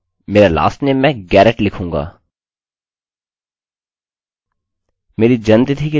मेरी जन्मतिथि के लिए मैं एक dateडेटफंक्शन बनाऊँगा जोकि वेरिएबल date के बराबर है